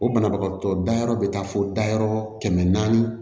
O banabagatɔ dayɔrɔ bɛ taa fo dayɔrɔ kɛmɛ naani naani